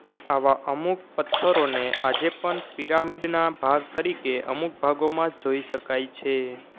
આવા અમુક પત્થરોને આજેપન પિરામિડના ભાગ તરીકે અમુક ભાગોમાં જોઈ શકાય છે